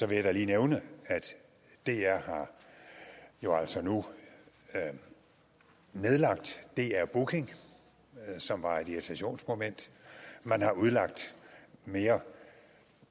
vil jeg da lige nævne at dr jo altså nu har nedlagt dr booking som var et irritationsmoment man har udlagt mere